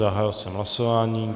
Zahájil jsem hlasování.